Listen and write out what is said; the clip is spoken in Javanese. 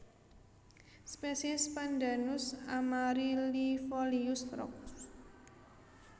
Spesies Pandanus amaryllifolius Roxb